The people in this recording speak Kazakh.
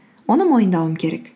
оны мойындауым керек